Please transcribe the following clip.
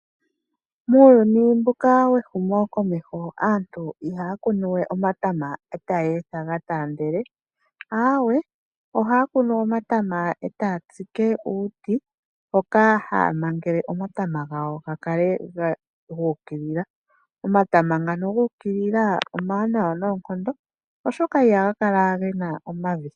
Muuyuni mbuka wehumo komeho aantu ihaya kunu we omatama etaya etha ga taandele, aweee ohaya kunu omatama etaya tsike uuti hoka haya mangele omatama gawo ga kale guukilila. Omatama ngano guukilila omawanawa noonkondo, oshoka ihaga kala gena omavi.